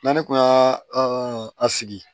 N'ale kun y'aa an sigi